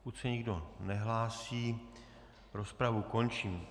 Pokud se nikdo nehlásí, rozpravu končím.